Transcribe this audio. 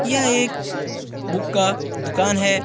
यह एक बुक का दुकान है।